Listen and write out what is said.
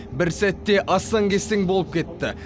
бір сәтте астаң кестең болып кетті